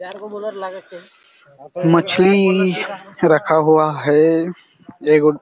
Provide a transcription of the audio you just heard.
मछली रखा हुआ हैं एक गो--